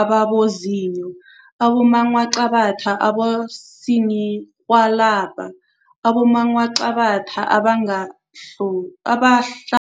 ababozinyo, abongwaqabathwa abosininirhwalabha, abongwaqabathwa, abongwahlo abahla